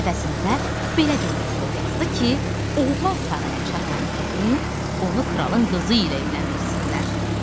Əvəzində belə bir məktub yazdı ki, oğlan saraya çatan kimi onu kralın qızı ilə evləndirsinlər.